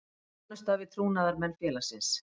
Þjónusta við trúnaðarmenn félagsins.